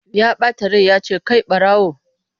Ya bata rai ya ce 'kai barawo!'